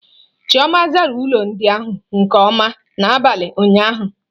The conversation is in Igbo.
Chioma zara ilu ndị ahụ nke ọma n'abalị ụnyaahụ.